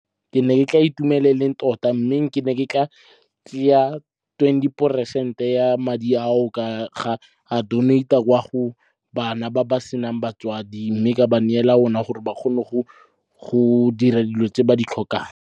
Ke ne ke tla itumela tota mme ke ne ke tla tseya twenty peresente ya madi ao, ka a donate-a kwa go bana ba ba senang batswadi. Mme ka ba neela ona gore ba kgone go dira dilo tse ba di tlhokang.